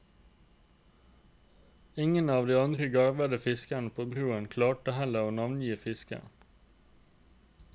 Ingen av de andre garvede fiskerne på broen klarte heller å navngi fisken.